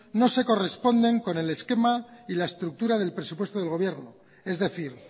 no se corresponde con el esquema y la estructura del presupuesto del gobierno es decir